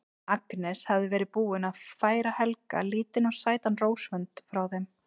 Agnes hafði verið búin að færa Helga lítinn og sætan rósavönd frá þeim